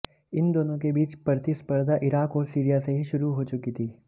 इन दोनों के बीच प्रतिस्पर्धा इराक़ और सीरिया से ही शुरु हो चुकी थी